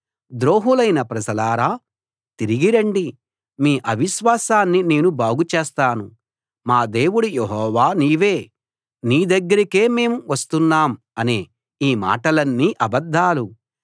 ద్రోహులైన ప్రజలారా తిరిగి రండి మీ అవిశ్వాసాన్ని నేను బాగుచేస్తాను మా దేవుడు యెహోవా నీవే నీ దగ్గరకే మేం వస్తున్నాం అనే ఈ మాటలన్నీ అబద్ధాలు